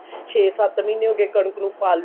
ਛੇ ਸੱਤ ਮਹੀਨੇ ਹੋਗੇ ਕਣਕ ਨੂੰ ਪਾਲਿਆ